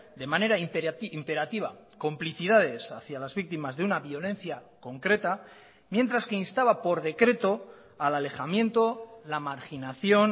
de manera imperativa complicidades hacia las víctimas de una violencia concreta mientras que instaba por decreto al alejamiento la marginación